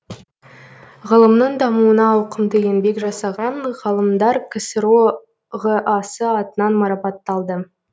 ғылымның дамуына ауқымды еңбек жасаған ғалымдар ксро ға сы атынан марапатталды